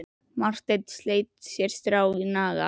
Marteinn sleit sér strá að naga.